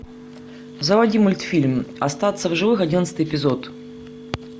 заводи мультфильм остаться в живых одиннадцатый эпизод